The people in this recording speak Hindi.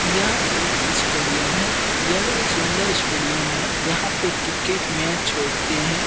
यह एक स्टेडियम है यह सुंदर स्टेडियम है यहाँ पे क्रिकेट मैच होते हैं।